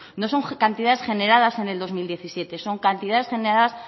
no son cantidades generadas en el dos mil diecisiete son cantidades generadas